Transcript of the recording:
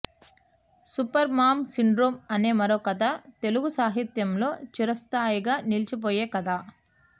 super mom syndrome అనే మరో కథ తెలుగు సాహిత్యంలో చిరస్థాయిగా నిలిచిపోయే కథ